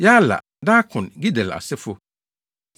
Yaala, Darkon, Gidel asefo, 1